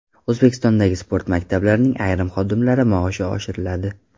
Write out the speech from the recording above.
O‘zbekistondagi sport maktablarining ayrim xodimlari maoshi oshiriladi.